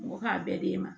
Mɔgɔ k'a bɛɛ d'e ma